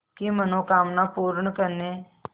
की मनोकामना पूर्ण करने